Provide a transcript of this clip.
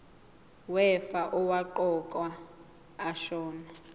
wefa owaqokwa ashona